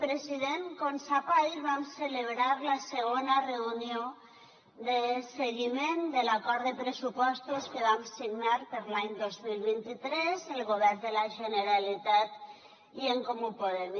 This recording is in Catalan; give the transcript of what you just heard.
president com sap ahir vam celebrar la segona reunió de seguiment de l’acord de pressupostos que vam signar per a l’any dos mil vint tres el govern de la generalitat i en comú podem